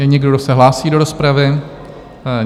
Je někdo, kdo se hlásí do rozpravy?